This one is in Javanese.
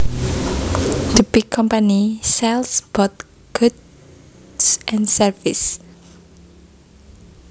The big company sells both goods and services